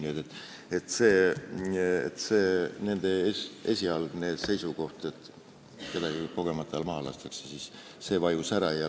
Nii et nende esialgne seisukoht, et keegi kogemata maha lastakse, vajus ära.